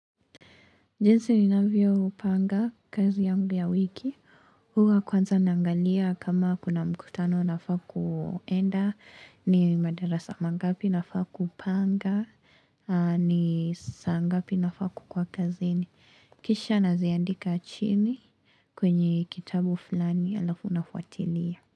Jinsi ninavyo panga kazi yangu ya wiki. Huwa kwanza naangalia kama kuna mkutano nafaakuenda. Ni madarasa mangapi nafaa kupanga. Ni saa ngapi nafaa kukuwa kazini. Kisha naziandika chini kwenye kitabu fulani alafu nafuatilia.